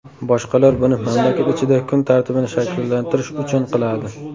Boshqalar buni mamlakat ichida kun tartibini shakllantirish uchun qiladi.